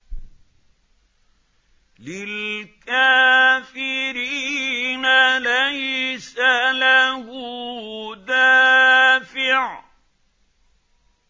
لِّلْكَافِرِينَ لَيْسَ لَهُ دَافِعٌ